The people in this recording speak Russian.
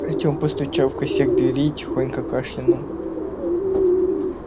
артем постучал в косяк двери и тихонько кашлянул